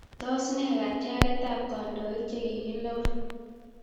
Tos, ne katiaket ab kandoik chikikelewen?